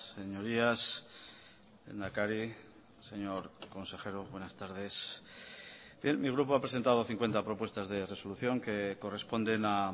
señorías lehendakari señor consejero buenas tardes mi grupo ha presentado cincuenta propuestas de resolución que corresponden a